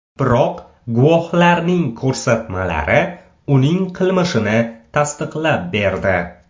Biroq guvohlarning ko‘rsatmalari uning qilmishini tasdiqlab berdi.